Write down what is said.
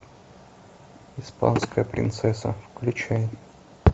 испанская принцесса включай